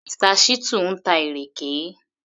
Mr. Shittu ń ta ìrèké